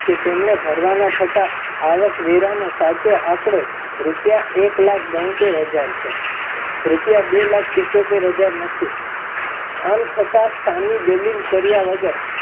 કે તેમને ભરવાના થતા આવકવેરા નો સાચો આંકડો રૂપિયા એક લાખ બોંતેર હજાર થયો રૂપિયા બે લાખ પીચોતર હજાર નથી. આમ છતા સામી દાલીલ કયાૅ વગર